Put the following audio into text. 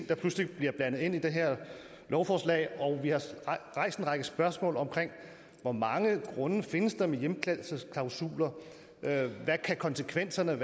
der pludselig bliver blandet ind i det her lovforslag og vi har rejst en række spørgsmål om hvor mange grunde der findes med hjemkaldelsesklausuler og hvad konsekvenserne